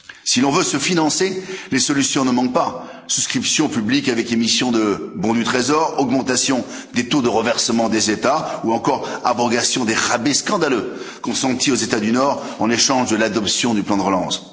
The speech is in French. Si l'on veut se financer, les solutions ne manquent pas souscriptions publiques avec émissions de bons du trésor, augmentations des taux de reversement des États ou encore abrogation des rabais scandaleux consentis aux États du Nord en échange de l'adoption du plan de relance.